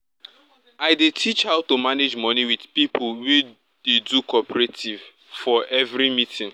i dey teach how to manage money with pipo wey dey do cooperative for every meeting